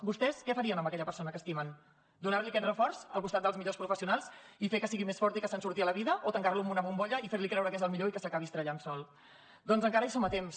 vostès què farien amb aquella persona que estimen donar li aquest reforç al costat dels millors professionals i fer que sigui més fort i que se’n surti a la vida o tancar lo en una bombolla i fer li creure que és el millor i que s’acabi estavellant sol doncs encara hi som a temps